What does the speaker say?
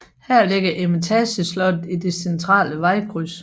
Her ligger Eremitageslottet i det centrale vejkryds